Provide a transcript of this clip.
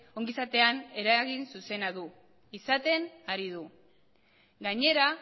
ongizatean eragin zuzena izaten ari du gainera